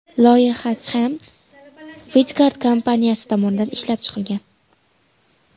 Loyiha Tham & Videgard kompaniyasi tomonidan ishlab chiqilgan.